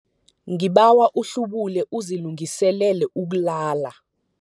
Ngibawa uhlubule uzilungiselele ukulala.